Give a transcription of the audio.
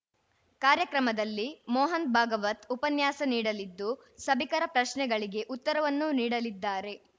ಕಾರ್ಯಕ್ರಮದಲ್ಲಿ ಮೋಹನ್‌ ಭಾಗವತ್‌ ಉಪನ್ಯಾಸ ನೀಡಲಿದ್ದು ಸಭಿಕರ ಪ್ರಶ್ನೆಗಳಿಗೆ ಉತ್ತರವನ್ನೂ ನೀಡಲಿದ್ದಾರೆ